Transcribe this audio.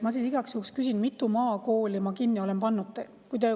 Ma siis igaks juhuks küsin, mitu maakooli ma kinni olen pannud.